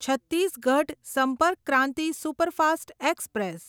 Chhattisgarh Sampark Kranti superfast express